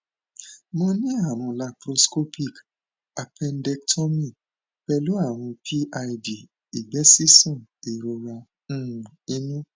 mo ní àrùn laparoscopic appendectomy pẹlú àrùn pid ìgbẹ ṣíṣàn ìrora um inú